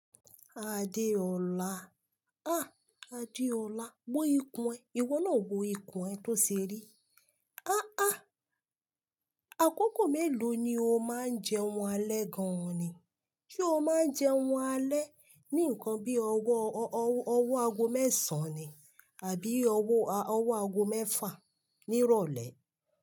Adeola, ah Adeola, wo ikùn ẹ. Iwọ náà wo ikùn ẹ to ṣe rí? Ah ah, àkókò mélò ni o máa ń je oun alẹ́ gan ni? Ṣé o máa ń jẹun alẹ́ ni ǹkan bí owo agogo mẹ́sàn ni àbí owo agogo mẹ́fà nirole.